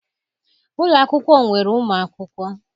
Ụlọ akwụkwọ nwere ụmụ akwụkwọ.